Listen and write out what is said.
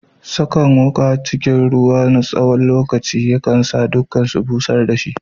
Sakan wuka cikin ruwa a tsawon lokaci kan sa shi dakusashe, busher da shi.